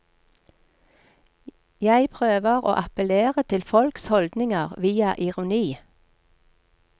Jeg prøver å appellere til folks holdninger via ironi.